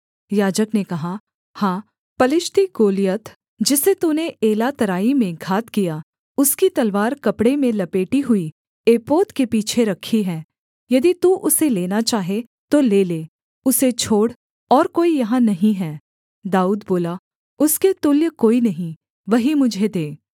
याजक ने कहा हाँ पलिश्ती गोलियत जिसे तूने एला तराई में घात किया उसकी तलवार कपड़े में लपेटी हुई एपोद के पीछे रखी है यदि तू उसे लेना चाहे तो ले ले उसे छोड़ और कोई यहाँ नहीं है दाऊद बोला उसके तुल्य कोई नहीं वही मुझे दे